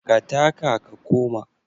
Ka taka ka koma.